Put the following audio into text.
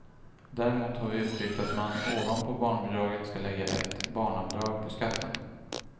Däremot har vi uttryckt att man ovanpå barnbidraget ska lägga ett barnavdrag på skatten.